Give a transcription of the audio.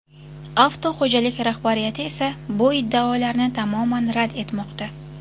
Avtoxo‘jalik rahbariyati esa bu iddaolarni tamoman rad etmoqda.